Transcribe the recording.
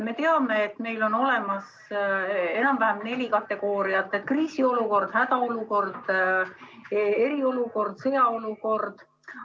Me teame, et meil on olemas neli kategooriat: kriisiolukord, hädaolukord, eriolukord, sõjaolukord.